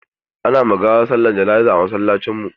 Ana ma gawa sallar jana'iza a musulunce.